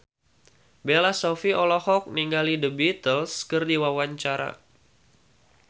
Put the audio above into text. Bella Shofie olohok ningali The Beatles keur diwawancara